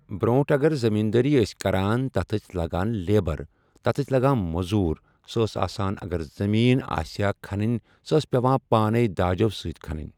برٛونٛٹھ اگر زٔمیٖندٲری ٲسۍ کران تتھ ٲسۍ لگان لیبر تتھ ٲسۍ لگان موٚضوٗر سہٕ ٲسۍ آسان اگر زٔمیٖن آسیہِ ہا کھنٕنۍ سۄ ٲسۍ پیٚوان پانے داجو سۭتۍ کھنٕنۍ۔